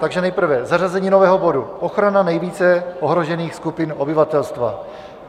Takže nejprve zařazení nového bodu - ochrana nejvíce ohrožených skupin obyvatelstva.